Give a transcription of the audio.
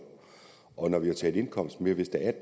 og der vi har taget indkomst med hvis der er